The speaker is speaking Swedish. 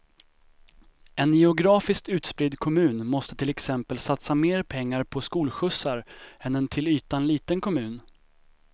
En geografiskt utspridd kommun måste till exempel satsa mer pengar på skolskjutsar än en till ytan liten kommun.